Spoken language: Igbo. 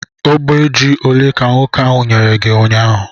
Ogbe ji ole ka nwoke ahụ nyere gi ụnyaahụ?